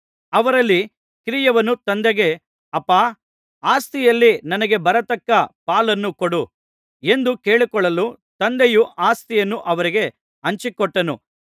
ಅವರಲ್ಲಿ ಕಿರಿಯವನು ತಂದೆಗೆ ಅಪ್ಪಾ ಆಸ್ತಿಯಲ್ಲಿ ನನಗೆ ಬರತಕ್ಕ ಪಾಲನ್ನು ಕೊಡು ಎಂದು ಕೇಳಿಕೊಳ್ಳಲು ತಂದೆಯು ಆಸ್ತಿಯನ್ನು ಅವರಿಗೆ ಹಂಚಿಕೊಟ್ಟನು